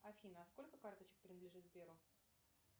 афина сколько карточек принадлежит сберу